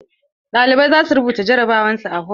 Ɗalibai za su rubuta jarabawar su a hol.